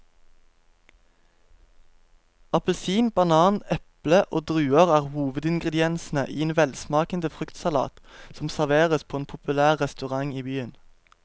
Appelsin, banan, eple og druer er hovedingredienser i en velsmakende fruktsalat som serveres på en populær restaurant i byen.